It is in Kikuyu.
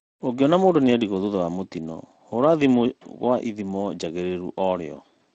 ũngĩona mũndũ nĩerigwo thutha wa mũtino hũra thimũ gwa ithimo jagĩrĩru orĩo